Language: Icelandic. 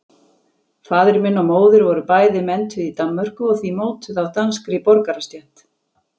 Faðir minn og móðir voru bæði menntuð í Danmörku og því mótuð af danskri borgarastétt.